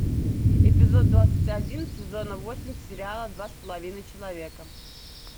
эпизод двадцать один сезона восемь сериала два с половиной человека